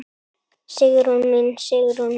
Sigrún mín, Sigrún mín.